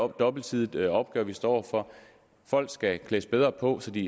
dobbeltsidig opgave vi står over for folk skal klædes bedre på så de